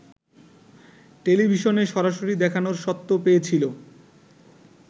টেলিভিশনে সরাসরি দেখানোর স্বত্ব পেয়েছিল